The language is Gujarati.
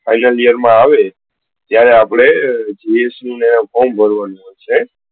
final year માં આવે ત્યારે આપડે form ભરવાનું છે.